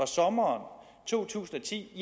sommeren to tusind og ti